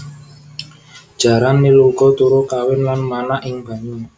Jaran nil uga turu kawin lan manak ing banyu